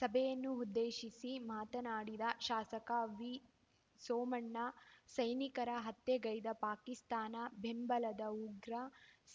ಸಭೆಯನ್ನು ಉದ್ದೇಶಿಸಿ ಮಾತನಾಡಿದ ಶಾಸಕ ವಿಸೋಮಣ್ಣ ಸೈನಿಕರ ಹತ್ಯೆಗೈದ ಪಾಕಿಸ್ತಾನ ಬೆಂಬಲದ ಉಗ್ರ